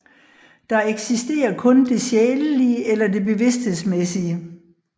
Der eksisterer kun det sjælelige eller det bevidsthedsmæssige